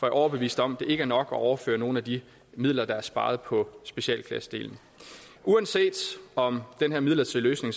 er overbevist om at det ikke er nok at overføre nogle af de midler der er sparet på specialklassedelen uanset om den her midlertidige løsning